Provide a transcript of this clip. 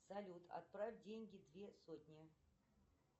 салют отправь деньги две сотни